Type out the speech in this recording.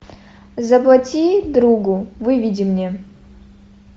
заплати другу выведи мне